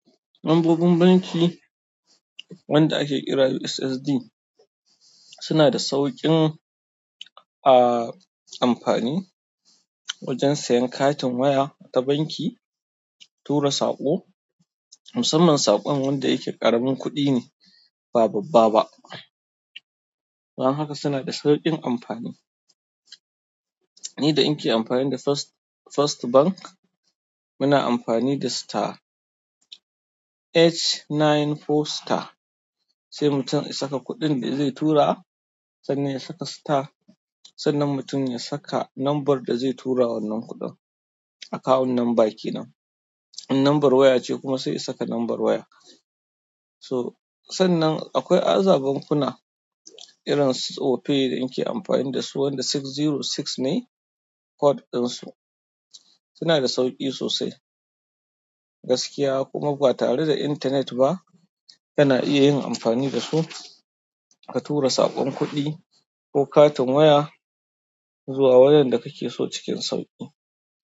Lambobin banki wanda ake kira USSD suna da sauƙin ah amfani wajen sayan katin waya ta banki, tura saƙo, musamman saƙon wanda yake ƙaramin kuɗi ne, ba babba ba. Don haka suna da sauƙin amfani. Ni da in ke amfani da First, First Bank, muna amfani da star, H94 star. Sai mutum ya saka kuɗin da zai tura, sannan ya saka star, sannan mutum ya saka lambar da zai tura wannan kuɗin akawun nan banki nan. In lambar waya ce kuma, sai ya saka lambar waya. So, sannan akwai azaben kuna irin su opay da inke amfani dasu wanda ɗari shida da shida ne code dinsu suna da sauƙi sosai. Gaskiya kuma ba tare da intanet ba, kana iya yin amfani da su ka tura saƙon kuɗi ko katin waya zuwa wanda kake so cikin sauƙi.